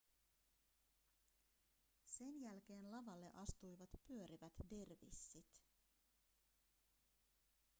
sen jälkeen lavalle astuivat pyörivät dervissit